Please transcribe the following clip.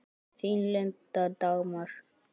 Þín, Linda Dagmar.